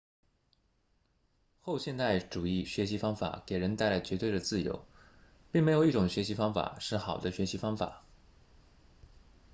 后现代主义学习方法给人带来绝对的自由并没有一种学习方法是好的学习方法